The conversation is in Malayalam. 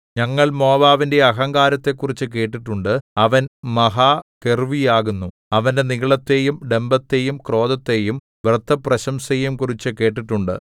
ഞങ്ങൾ മോവാബിന്റെ അഹങ്കാരത്തെക്കുറിച്ചു കേട്ടിട്ടുണ്ട് അവൻ മഹാഗർവ്വിയാകുന്നു അവന്റെ നിഗളത്തെയും ഡംഭത്തെയും ക്രോധത്തെയും വ്യർത്ഥപ്രശംസയെയും കുറിച്ചും കേട്ടിട്ടുണ്ട്